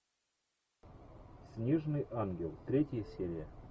снежный ангел третья серия